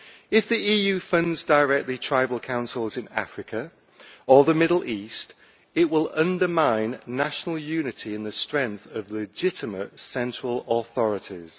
If the EU directly funds tribal councils in Africa or the Middle East it will undermine national unity in the strength of legitimate central authorities.